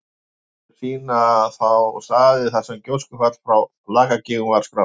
Hringirnir sýna þá staði þar sem gjóskufall frá Lakagígum var skráð.